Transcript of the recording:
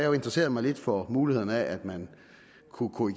jo interesseret mig lidt for mulighederne for at man kunne kunne